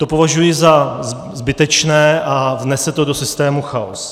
To považuji za zbytečné a vnese to do systému chaos.